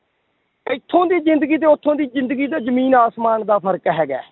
ਇੱਥੋਂ ਦੀ ਜ਼ਿੰਦਗੀ ਤੇ ਉੱਥੋਂ ਦੀ ਜ਼ਿੰਦਗੀ ਦਾ ਜ਼ਮੀਨ ਆਸਮਾਨ ਦਾ ਫ਼ਰਕ ਹੈਗਾ ਹੈ,